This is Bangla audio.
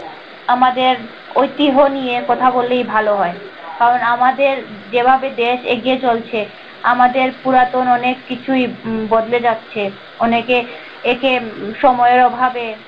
আমাদের ওইতিহ নিয়ে কথা বললেই ভালো হয় কারণ আমাদের যে ভাবে দেশ এগিয়ে চলছে, আমাদের পুরাতন অনেক কিছুই বদলে যাচ্ছে অনেকে একে সময়ের অভাবে।